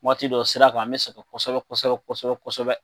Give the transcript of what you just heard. Waati dɔ sira kan an bɛ sɛgɛn kosɛbɛ kosɛbɛ kosɛbɛ kosɛbɛ